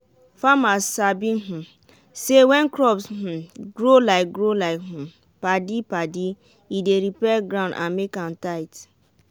farmers sabi um say when crops dey um grow like grow like um padi-padi e dey repair ground and make am tight.